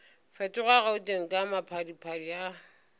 fetoga gauteng ka maphadiphadi a